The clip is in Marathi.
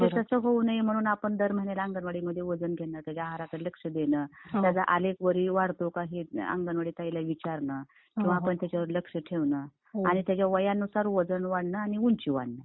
तर ते तसं होऊ नये म्हणून आपण दर महिन्याला अंगणवाडीमध्ये वजन घेणं, त्याच्या आहारकडे लक्ष देणं , त्याचा आलेख वरती वाढतो का हे अंगणवाडी ताईला विचारणं. किंवा आपण त्याच्यावर लक्ष ठेवणं आणि त्याच्या वयानुसार वजन वाढणं आणि ऊंची वाढणं